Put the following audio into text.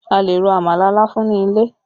A lè ro àmàlà láfún ní ilẹ̀